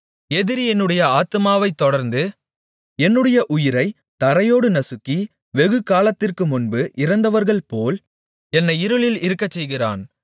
எதிரி என்னுடைய ஆத்துமாவைத் தொடர்ந்து என்னுடைய உயிரைத் தரையோடு நசுக்கி வெகுகாலத்திற்கு முன்பு இறந்தவர்கள்போல் என்னை இருளில் இருக்கச்செய்கிறான்